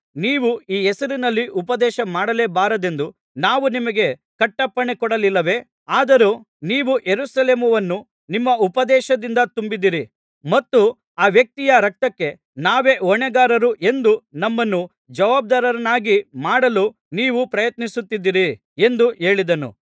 ನೀವು ಈ ಹೆಸರಿನಲ್ಲಿ ಉಪದೇಶಮಾಡಲೇ ಬಾರದೆಂದು ನಾವು ನಿಮಗೆ ಕಟ್ಟಪ್ಪಣೆ ಕೊಡಲಿಲ್ಲವೇ ಆದರೂ ನೀವು ಯೆರೂಸಲೇಮನ್ನು ನಿಮ್ಮ ಉಪದೇಶದಿಂದ ತುಂಬಿಸಿದಿರಿ ಮತ್ತು ಆ ವ್ಯಕ್ತಿಯ ರಕ್ತಕ್ಕೆ ನಾವೇ ಹೊಣೆಗಾರರು ಎಂದು ನಮ್ಮನ್ನು ಜವಾಬ್ಧಾರರನ್ನಾಗಿ ಮಾಡಲು ನೀವು ಪ್ರಯತ್ನಿಸುತ್ತಿದ್ದೀರಿ ಎಂದು ಹೇಳಿದನು